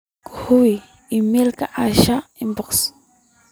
ka hubi iimaylka asha inbox